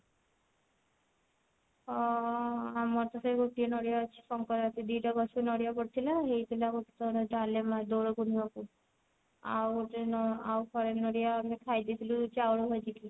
ହଁ ଆମର ତ ସେଇ ଗୋଟିଏ ନଡିଆ ଅଛି ସଙ୍କ୍ରାନ୍ତି ଦି ଟା ବାସ୍ ନଡିଆ ପଡିଥିଲା ହେଇଥିଲା ଗୋଟେ ଥର ଡାଲେମା ଦୋଳ ପୁର୍ନିମା କୁ ଆଉ ଗୋଟେ ନ ଆଉ ଫାଳେ ନଡିଆ ଆମେ ଖାଇଦେଇଥିଲୁ ଚାଉଳ ଭାଜିକି